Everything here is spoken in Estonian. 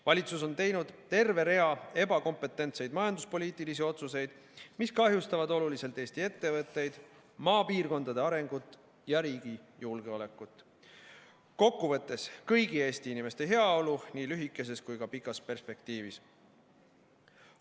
Valitsus on teinud terve rea ebakompetentseid majanduspoliitilisi otsuseid, mis kahjustavad oluliselt Eesti ettevõtteid, maapiirkondade arengut ja riigi julgeolekut – kokkuvõttes, kõigi Eesti inimeste heaolu nii lühikeses kui ka pikas perspektiivis.